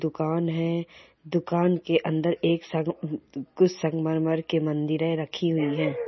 दुकान है । दुकान के अंदर एक कुछ संगमरमर के मंदिरे रखी हुई है।